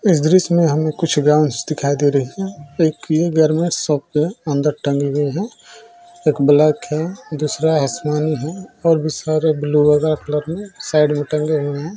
इस दृश्य में हमें कुछ गाउन्स दिखाई दे रही हैं एक ये घर में शॉप है अंदर टंगी हुई है। एक ब्लैक है दूसरा आसमानी है और भी सारा ब्लू वगेरा कलर में साइड में टंगे हुए हैं।